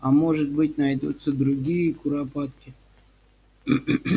а может быть найдутся другие куропатки